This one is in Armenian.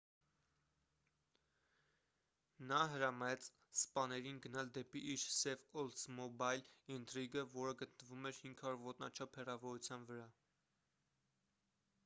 նա հրամայեց սպաներին գնալ դեպի իր սև օլդսմոբայլ ինտրիգը որը գտնվում էր 500 ոտնաչափ հեռավորության վրա